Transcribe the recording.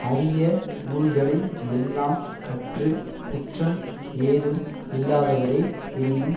அரிய நூல்களை எல்லாம் கற்று குற்றம் ஏதும் இல்லாதவரே எனினும்